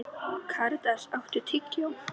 Karítas, áttu tyggjó?